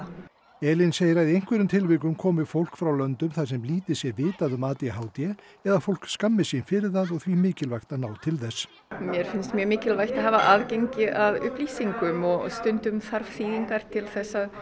Elín segir að í einhverjum tilvikum komi fólk frá löndum þar sem lítið sé vitað um a d h d eða að fólk skammist sín fyrir það og því mikilvægt að ná til þess mér finnst mjög mikilvægt að hafa aðgengi að upplýsingum og stundum þarf þýðingar til þess að